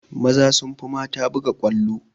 Maza sun fi mata buga ƙwallo